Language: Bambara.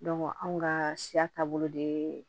anw ka siya taabolo de ye